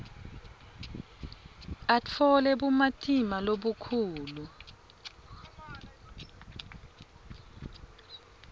atfole bumatima lobukhulu